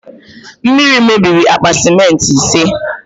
Mmiri mebiri akpa sementị ise